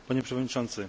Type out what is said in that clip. Panie przewodniczący!